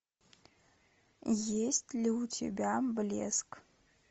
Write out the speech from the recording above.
есть ли у тебя блеск